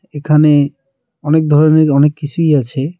এখানে অনেক ধরনের অনেক কিছুই আছে.